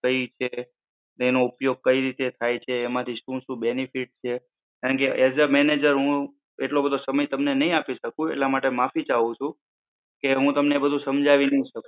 કઈ રીતે, તેનો ઉપયોગ કઈ રીતે થાય છે. એમાંથી શું શું benefit છે. as a manager હું એટલો બધો સમય હું નઈ આપી શકું એટલા માટે માફી ચાહું છું. કે હું તમને બધું સમજાવી નઈ શકું.